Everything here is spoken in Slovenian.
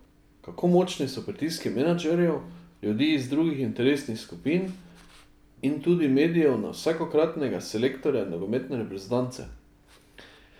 Kako močni so pritiski menedžerjev, ljudi iz drugih interesnih skupin in tudi medijev na vsakokratnega selektorja nogometne reprezentance?